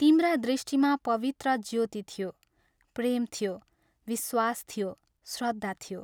तिम्रा दृष्टिमा पवित्र ज्योति थियो प्रेम थियो, विश्वास थियो, श्रद्धा थियो।